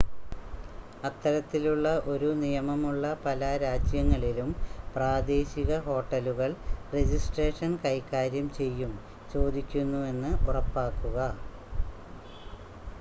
അത്തരത്തിലുള്ള ഒരു നിയമമുള്ള പല രാജ്യങ്ങളിലും പ്രാദേശിക ഹോട്ടലുകൾ രജിസ്ട്രേഷൻ കൈകാര്യം ചെയ്യും ചോദിക്കുന്നുവെന്ന് ഉറപ്പാക്കുക